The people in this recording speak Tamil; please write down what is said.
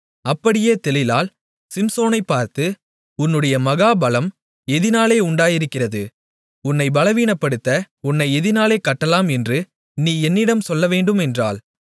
அப்படியே தெலீலாள் சிம்சோனைப் பார்த்து உன்னுடைய மகா பலம் எதினாலே உண்டாயிருக்கிறது உன்னை பலவீனப்படுத்த உன்னை எதினாலே கட்டலாம் என்று நீ என்னிடம் சொல்லவேண்டும் என்றாள்